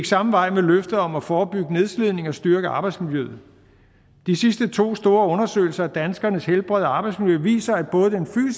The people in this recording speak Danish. samme vej med løftet om at forebygge nedslidning og styrke arbejdsmiljøet de sidste to store undersøgelser af danskernes helbred og arbejdsmiljø viser at både den